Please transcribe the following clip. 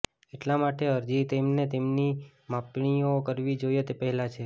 એટલા માટે અરજી તેમને તેની માપણીઓ કરવી જોઈએ તે પહેલાં છે